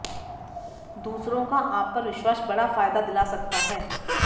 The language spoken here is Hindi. दूसरों का आप पर विश्वास बड़ा फायदा दिला सकता है